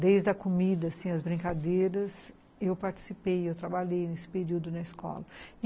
Desde a comida, assim, as brincadeiras, eu participei, eu trabalhei nesse período na escola.